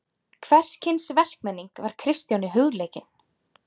Hvers kyns verkmenning var Kristjáni hugleikin.